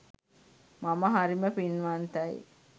මම හරිම පින්වන්තයි